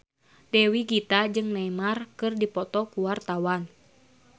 Dewi Gita jeung Neymar keur dipoto ku wartawan